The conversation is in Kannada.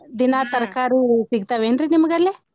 ದಿನಾ ತರಕಾರಿ ಸಿಗ್ತಾವೇನ್ರೀ ನಿಮ್ಗ್ ಅಲ್ಲೆ?